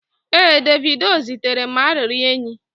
ee, Davido zitere m arịrịọ enyi